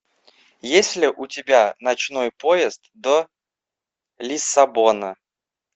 есть ли у тебя ночной поезд до лиссабона